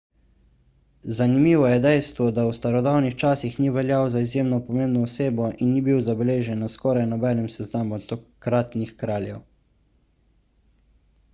zanimivo je dejstvo da v starodavnih časih ni veljal za izjemno pomembno osebo in ni bil zabeležen na skoraj nobenem seznamu takratnih kraljev